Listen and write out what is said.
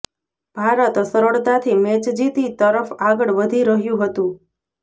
ભારત સરળતાથી મેચ જીતી તરફ આગળ વધી રહ્યું હતું